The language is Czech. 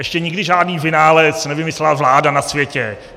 Ještě nikdy žádný vynález nevymyslela vláda na světě.